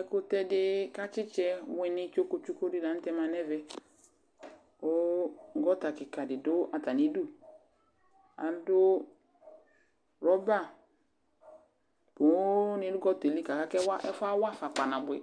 Ɛkʋtɛ dɩ kʋ atsɩtsɛ wɩnɩ tsoku tsoku dɩ la nʋ tɛ ma nʋ ɛvɛ kʋ gɔta kɩka dɩ dʋ atamɩdu Adʋ rɔba nʋ poonɩ nʋ gɔta yɛ li kʋ aka kʋ ɛfʋ yɛ awa afa kpanabʋɛ